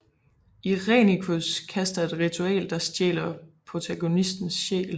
Irenicus kaster et ritual der stjæler protagonistens sjæl